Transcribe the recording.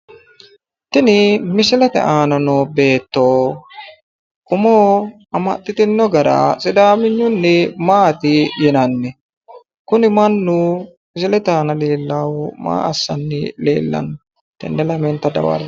Tini misilete aana noo beetto umo amaxxitino gara sidaaminyunni maati yinanni? Kunni mannu misilebootohoe aana leellaahu maa assanni leellanno? Tenne lamenta dawarre'e.